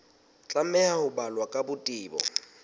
tlameha ho balwa ka botebo